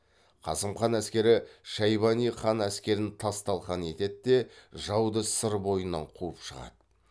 қасым хан әскері шайбани хан әскерін тас талқан етеді де жауды сыр бойынан қуып шығады